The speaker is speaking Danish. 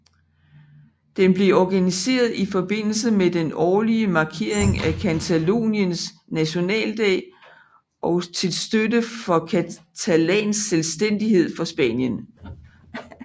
Den blev organiseret i forbindelse med den årlige markering af Cataloniens nationaldag og til støtte for catalansk selvstændighed fra Spanien